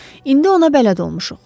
İndi ona bələd olmuşuq.